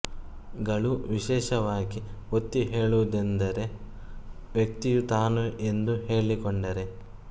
ಗಳು ವಿಶೇಷವಾಗಿ ಒತ್ತಿ ಹೇಳುವುದೆಂದರೆ ವ್ಯಕ್ತಿಯು ತಾನು ಎಂದು ಹೇಳಿಕೊಂಡರೆ